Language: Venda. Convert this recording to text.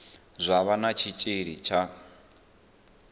zwa vha na tshitshili tsha